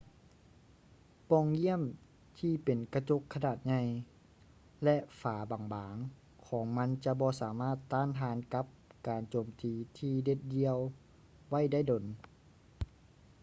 ປ່ອງຢ້ຽມທີ່ເປັນກະຈົກຂະໜາດໃຫຍ່ ແລະ ຝາບາງໆຂອງມັນຈະບໍ່ສາມາດຕ້ານທານກັບການໂຈມຕີທີ່ເດັດດ່ຽວໄວ້ໄດ້ດົນ